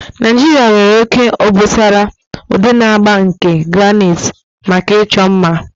Naijiria nwere oke obosara, udi na agba nke granite maka ịchọ mma.